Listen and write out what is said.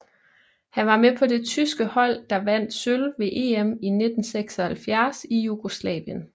Han var med på det tyske hold der vandt sølv ved EM i 1976 i Jugoslavien